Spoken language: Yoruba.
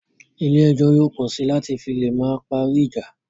Ilé ẹjọ́ yóò pọ sí láti fi lè máa parí ìjà